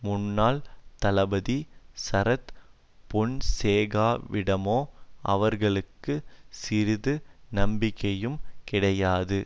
முன்னாள் தளபதி சரத் பொன்சேகாவிடமோ அவர்களுக்கு சிறிது நம்பிக்கையும் கிடையாது